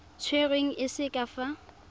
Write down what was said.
tserweng e se ka fa